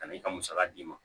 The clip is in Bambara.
Ka na i ka musaka d'i ma